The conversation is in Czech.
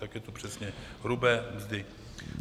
Tak je to přesně hrubé mzdy.